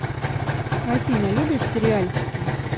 афина любишь сериальчики